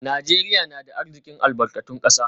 Najeriya na da arzikin albarkatun kasa